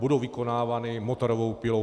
Budou vykonávány motorovou pilou.